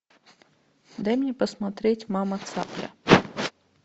дай мне посмотреть мама цапля